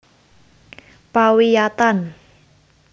Pawiyatan